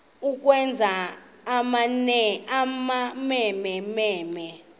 ukwenza amamene mene